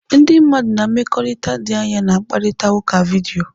Ndị mmadụ na mmekọrịta dị anya na-akparịta ụka vidiyo.